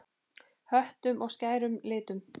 Höttum og skærum litum.